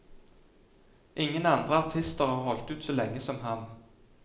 Ingen andre artister har holdt ut så lenge som ham.